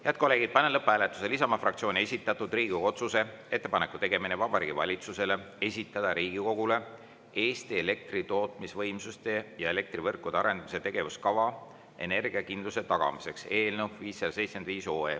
Head kolleegid, panen lõpphääletusele Isamaa fraktsiooni esitatud Riigikogu otsuse "Ettepaneku tegemine Vabariigi Valitsusele esitada Riigikogule Eesti elektri tootmisvõimsuste ja elektrivõrkude arendamise tegevuskava energiakindluse tagamiseks" eelnõu 575.